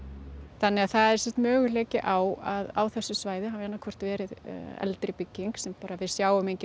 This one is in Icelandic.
þannig að það er möguleiki á að á þessu svæði hafi annaðhvort verið eldri bygging sem við sjáum engin